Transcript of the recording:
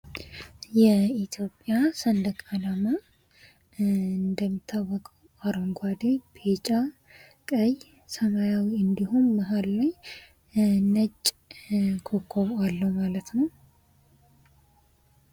የኢትዮጵያ ሰንደቅ አላማ እንደሚታወቀው አረንጕዴ ቢጫ ቀይ ሰማያዊ እንዲሁም መሃል ነጭ ኮከብ አለው ማለት ነው::